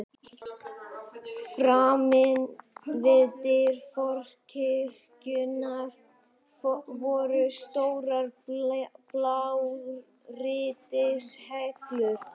Framan við dyr forkirkjunnar voru stórar blágrýtishellur.